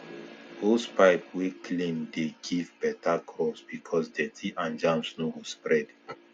hosepipe wey clean dey give better crops because dirty and germs no go spread